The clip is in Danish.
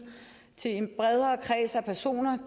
til en bredere kreds af personer